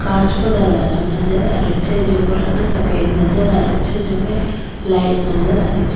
कांच को दरवाजो नजर आ रहियो छे जेको रंग सफ़ेद नजर आ रहियो छे जिमे लाइट नजर आ रही छे।